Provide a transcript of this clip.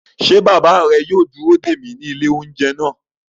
Ṣé bàbá rẹ yóò dúró dè mí ní ilé-oúnjẹ náà?